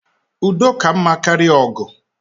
Udo ka mma karịa ogu